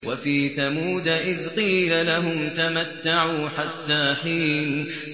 وَفِي ثَمُودَ إِذْ قِيلَ لَهُمْ تَمَتَّعُوا حَتَّىٰ حِينٍ